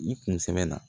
Nin kun sɛmɛnna